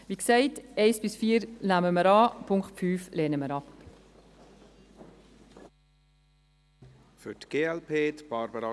Wie gesagt: Die Punkte 1–4 nehmen wir an, Punkt 5 lehnen wir ab.